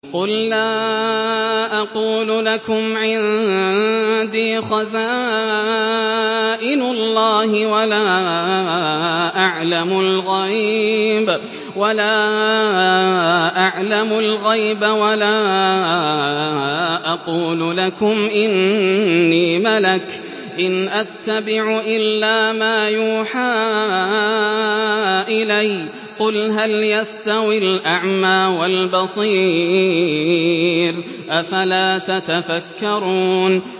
قُل لَّا أَقُولُ لَكُمْ عِندِي خَزَائِنُ اللَّهِ وَلَا أَعْلَمُ الْغَيْبَ وَلَا أَقُولُ لَكُمْ إِنِّي مَلَكٌ ۖ إِنْ أَتَّبِعُ إِلَّا مَا يُوحَىٰ إِلَيَّ ۚ قُلْ هَلْ يَسْتَوِي الْأَعْمَىٰ وَالْبَصِيرُ ۚ أَفَلَا تَتَفَكَّرُونَ